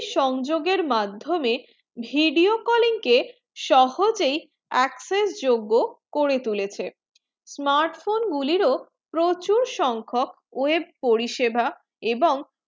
সংযোগে মাধমিয়ে video calling কে সহজে access যোগ করে তুলেছে smartphone গুলির প্রচুর সংখক web পরিষেবা এবং